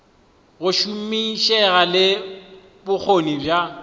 go šomišega le bokgoni bja